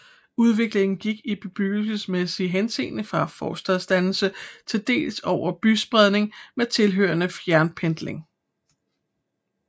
Udviklingen gik i bebyggelsesmæssig henseende fra forstadsdannelser til dels over til byspredning med tilhørende fjernpendling